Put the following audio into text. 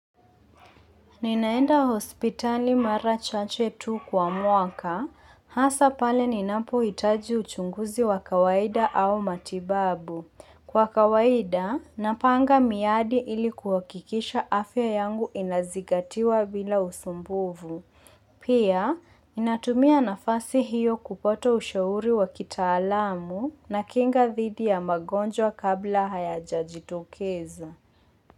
Ninaenda hospitali mara chache tu kwa mwaka, hasa pale ninapohitaji uchunguzi wa kawaida au matibabu. Kwa kawaida, napanga miadi ilikuwa kuhakikisha afya yangu inazingatiwa bila usumbuvu. Pia, ninatumia nafasi hiyo kupata ushauri wa kitaalamu na kinga dhidi ya magonjwa kabla hayajajitokeza.